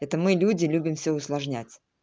это мы люди любим все усложнять